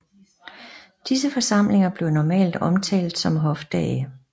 Disse forsamlinger blev normalt omtalt som Hofdage